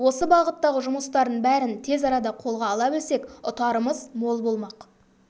осы бағыттағы жұмыстардың бәрін тез арада қолға ала білсек ұтарымыз мол болмақ